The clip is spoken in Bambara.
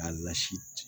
A lasi